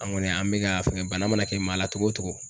An kɔni an bɛ ka fɛngɛ bana mana kɛ maa la cogo o cogo